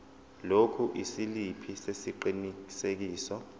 lokhu isiliphi sesiqinisekiso